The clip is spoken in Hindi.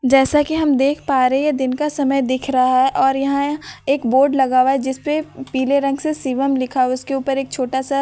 जैसा कि हम देख पा रहे हैं ये दिन का समय दिख रहा है और यहां यहां एक बोर्ड लगा हुआ है जिस पे पीले रंग से शिवम् लिखा हुआ है उसके ऊपर छोटा सा व्हाइट रंग का --